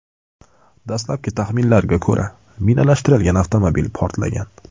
Dastlabki taxminlarga ko‘ra, minalashtirilgan avtomobil portlagan.